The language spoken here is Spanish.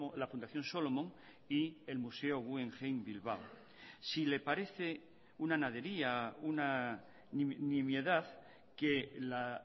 la fundación solomon y el museo guggenheim bilbao si le parece una nadería una nimiedad que la